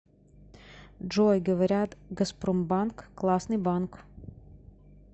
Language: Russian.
джой говорят газпромбанк классный банк